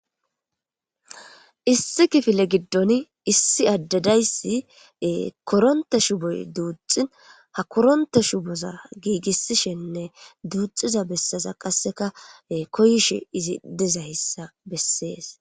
Issi kifile gidoni issi adde dizaysi koronte shuboy duuxin ha koronte shuboza giigisishe duuxida besaza kaseka koyishe dizaysa beses.